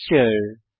texture